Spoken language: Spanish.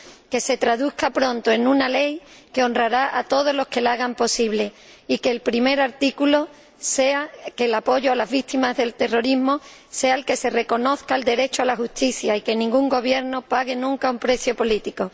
que ello se traduzca pronto en una ley que honrará a todos los que la hagan posible, y que el primer artículo sea que el apoyo a las víctimas del terrorismo consista en que se reconozca el derecho a la justicia y en que ningún gobierno pague nunca un precio político.